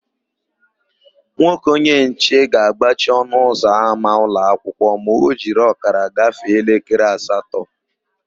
Nwoke onyenche ga-agbachi ọnụụzọama ụlọakwụkwọ ma o jiri ọkara gafee elekere asatọ.